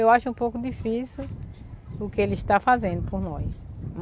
Eu acho um pouco difícil o que ele está fazendo por nós.